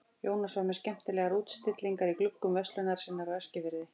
Jónas var með skemmtilegar útstillingar í gluggum verslunar sinnar á Eskifirði.